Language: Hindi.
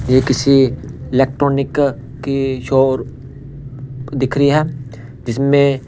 ये किसी इलेक्ट्रॉनिक की शॉप दिख रही है जिसमें--